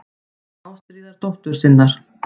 Ástríðar dóttur sinnar.